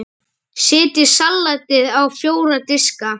Setjið salatið á fjóra diska.